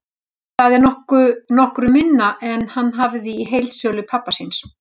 Það er nokkru minna en hann hafði í heildsölu pabba síns.